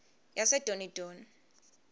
yasedonidoni